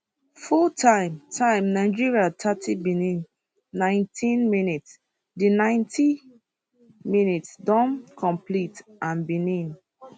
full time time nigeria thirty benin 90 mins di ninety minutes don complete and benin